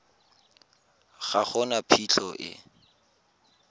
ga go na phitlho e